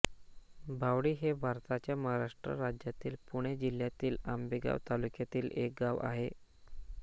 भावडी हे भारताच्या महाराष्ट्र राज्यातील पुणे जिल्ह्यातील आंबेगाव तालुक्यातील एक गाव आहे